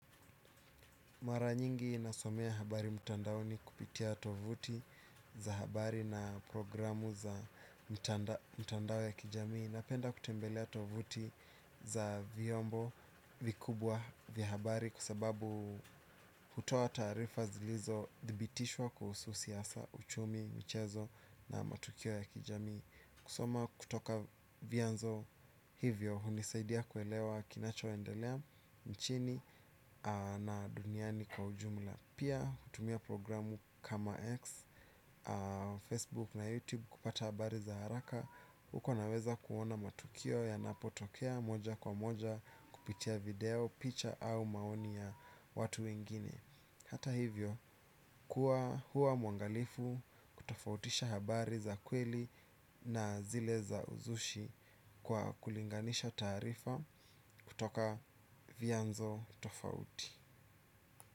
Maranyingi nasomea habari mutandaoni kupitia tovuti za habari na programu za mutandao ya kijamii. Napenda kutembelea tovuti za vyombo vikubwa vya habari kwa sababu hutoa taarifa zilizo dhibitishwa kuhusu siasa, uchumi, mchezo na matukio ya kijami. Kusoma kutoka vyanzo hivyo hunisaidia kuelewa kinacho endelea nchini na duniani kwa ujumla. Pia kutumia programu kama X Facebook na YouTube kupata habari za haraka. Uko naweza kuona matukio yanapotokea moja kwa moja kupitia video, picha au maoni ya watu wengine. Hata hivyo kuwa huwa mwangalifu kutofautisha habari za kweli na zile za uzushi kwa kulinganisha taarifa kutoka vianzo tofauti.